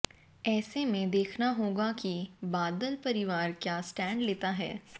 ऐसे में देखना होगा कि बादल परिवार क्या स्टैंड लेता है